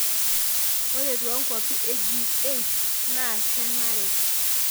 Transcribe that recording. Ore toonkwapi e G8 naa kenare.